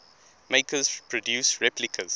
makers produce replicas